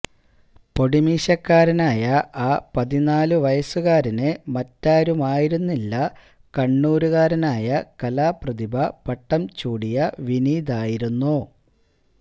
പൊടിമീശക്കാരനായ ആ പതിനാലു വയസുകാരന് മറ്റാരുമായിരുന്നില്ല കണ്ണൂരുകാരനായ കലാപ്രതിഭ പട്ടം ചൂടിയ വിനീതായിരുന്നു